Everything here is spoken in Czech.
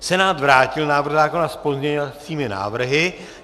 Senát vrátil návrh zákona s pozměňovacími návrhy.